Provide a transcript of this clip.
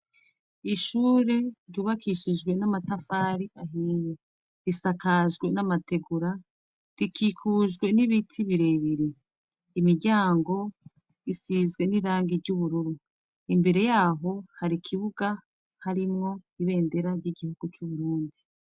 Ishure ryubakishijwe n'amatafari ahiye. Risakajwe n'amategura rikikujwe n'ibiti birebire. Imiryango isizwe n'irangi ry'ubururu. Imbere yaho hari ikibuga harimwo ibendera ry'igihu c'Uburundi.